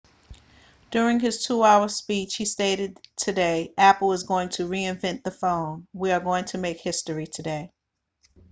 during his 2 hour speech he stated that today apple is going to reinvent the phone we are going to make history today